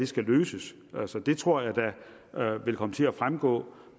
skal løses altså det tror jeg da vil komme til at fremgå